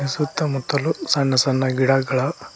ಸುತ್ತ ಮುತ್ತಲು ಸಣ್ಣ ಸಣ್ಣ ಗಿಡಗಳ--